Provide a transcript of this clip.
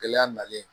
Gɛlɛya nalen